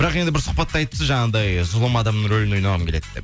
бірақ енді бір сұхбатта айтыпсыз жаңағындай зұлым адамның рөлін ойнағым келеді деп